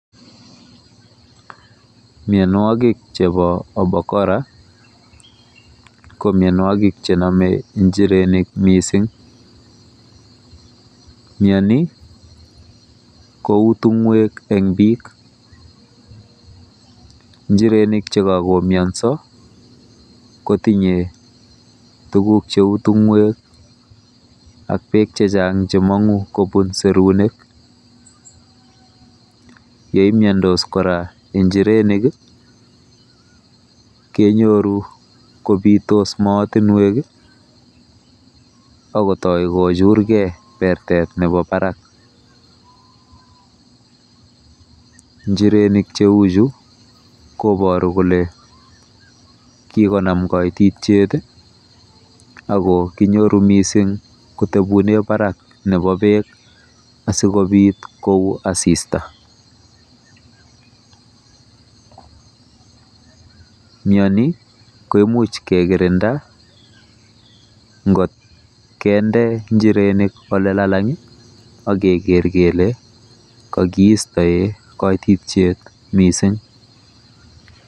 Mianwogik chepo obokora ko mianwagik che name njirenik missing'. Miani kou tung'wek eng' piik. Njirenik che kakomiansa kotinye tuguk che u tung'wek ak tuguk che chang' che mang'u kopun serunek. Ye imiandos njirenik kenyoru kopitos maatinwek ak kotai ko churgei pertet nepo parak. Njirenik che u chu koparu kole kikonam kaititiet ako kinyoru missing' kotepune parak nepo peek asikopit ko lu asista. Miani kemuch kekirinda ngot kende njirenik ole lalang' ak keker kele kakiistae kaititiet missing'.